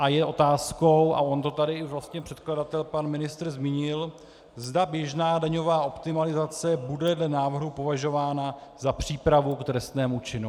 A je otázkou, a on to tady i vlastně předkladatel pan ministr zmínil, zda běžná daňová optimalizace bude dle návrhu považována za přípravu k trestnému činu.